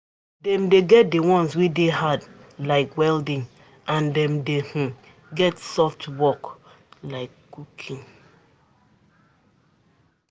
dem dey get di ones wey dey hard like welding and dem dey um get soft work um like um cooking